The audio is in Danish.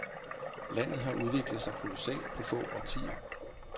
Landet har udviklet sig kolossalt på få årtier.